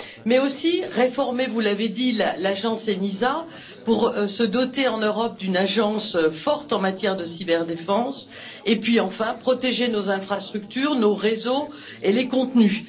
Il convient aussi de réformer vous l'avez dit l'agence ENISA pour se doter en Europe d'une agence forte en matière de cyberdéfense et, enfin, de protéger nos infrastructures, nos réseaux et les contenus.